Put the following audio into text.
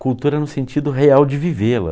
Cultura no sentido real de vivê-la.